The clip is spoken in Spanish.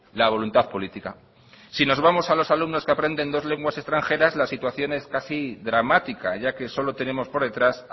la voluntad política si nos vamos a los alumnos que aprenden dos lenguas extranjeras la situación es casi dramática ya que solo tenemos por detrás